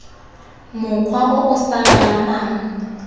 mokgwa o o sa lolamang